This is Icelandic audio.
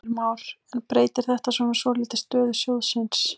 Heimir Már: En breytir þetta svona svolítið stöðu sjóðsins?